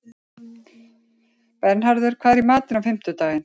Bernharður, hvað er í matinn á fimmtudaginn?